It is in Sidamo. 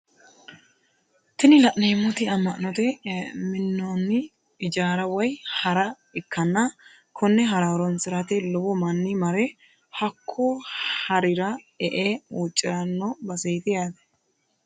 Tini la'neemoti amma'note minnonni ijaara woye hara ikkanna konne hara horonsirate lowo manni mare hokko harira e"e huuciranno baseeti yaate.